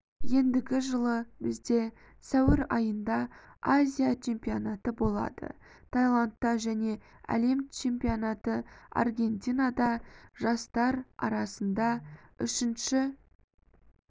ендігі жылы бізде сәуір айында азия чемпионаты болады таиландта және әлем чемпионаты аргентинада жастар арасында үшініші